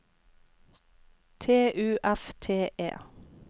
T U F T E